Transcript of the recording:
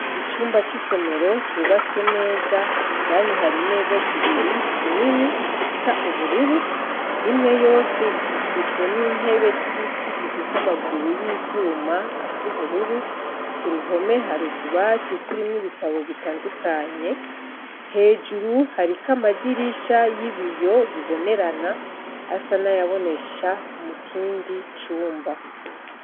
Icumba cisomero cubatswe neza indani hari imeza zibiri zinini zisa ubururu, imwe yose ikikijwe nintebe zibiti zifise amaguru yivyuma ,kuruhome hari utubati turimwo ibitabu bitandukanye , hejuru amadirisha bibonerana asa nayabonesha ikindi cumba.